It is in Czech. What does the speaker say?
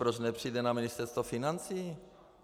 Proč nepřijde na Ministerstvo financí?